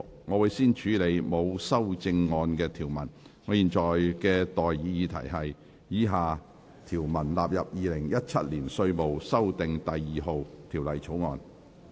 我現在向各位提出的待議議題是：以下條文納入《2017年稅務條例草案》。